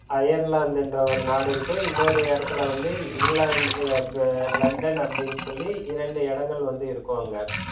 அயர்லாந்துன்ற ஒரு நாடு இருக்கு இன்னொரு இடத்துல வந்து இங்கிலாந்து லண்டன் அப்படின்னு சொல்லி இரண்டு இடங்கள் வந்து இருக்கும். அங்க,